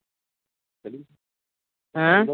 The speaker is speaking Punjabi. ਹੈਂ